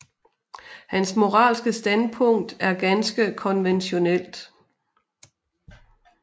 Hans moralske standpunkt er ganske konventionelt